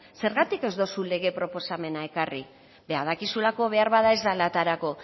zergatik ez dozu lege proposamena ekarri dakizulako behar bada ez dela aterako